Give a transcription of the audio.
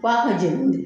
F'a ka jeni de